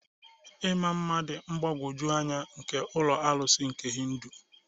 Ịma mma dị mgbagwoju anya nke ụlọ arụsị nke Hindu.